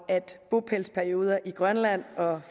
bopælsperioder i grønland og